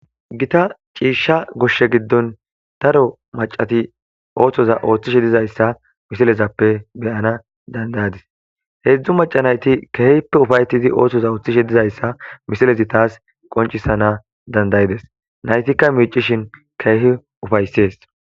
Gitta cishsha goshshe giddon daro maccati oththoza othishe dizayssa missilezappe be7ana danda7adise heezhzhu macca nayti kehippe ufaetidi oththoza oththishe dizayssa missilezi tas qonccisana dandaides naytika miccishin kehi ufayses.